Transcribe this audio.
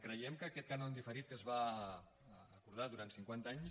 creiem que aquest cànon diferit que es va acordar durant cinquanta anys